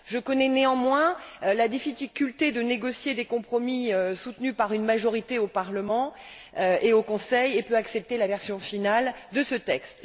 Connaissant néanmoins la difficulté de négocier des compromis soutenus par une majorité au Parlement et au Conseil, je peux accepter la version finale de ce texte.